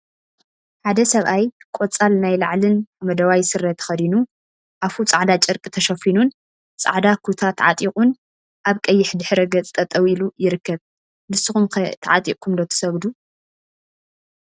ሓደ ሰብአይ ቆፃል ናይ ላዕሊን ሓመደዋይ ስረ ተከዲኑ አፉ ፃዕዳ ጨርቂ ተሸፊኑን ፃዕዳ ኩታ ተዓጢቁን አብ ቀይሕ ድሕረ ገፅ ጠጠወ ኢሉ ይርከብ፡፡ ንስኩም ኸ ተዓጢቅኩም ዶ ትሰግዱ?